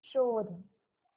शोध